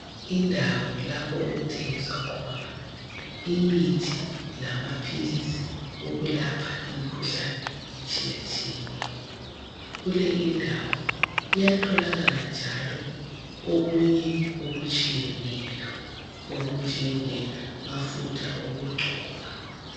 Indawo lapho okuthengiswa khona imithi lama philisi okulapha imkhuhlane etshiyatshiyeneyo. Kule indawo kuyatholakala njalo okunye okutshiyeneyo okunjengemafutha okugcoba.